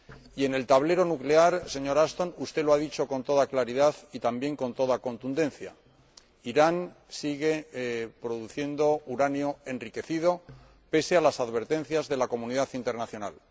Y, en el tablero nuclear, señora Ashton, usted lo ha dicho con toda claridad y también con toda contundencia Irán sigue produciendo uranio enriquecido, pese a las advertencias de la comunidad internacional.